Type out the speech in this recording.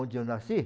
Onde eu nasci?